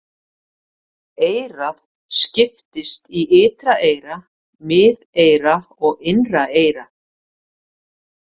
Eyrað skiptist í ytra eyra, miðeyra og innra eyra.